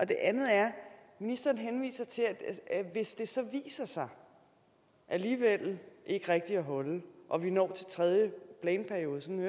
det andet er at ministeren henviser til at hvis det så viser sig alligevel ikke rigtigt at holde og vi når til tredje planperiode sådan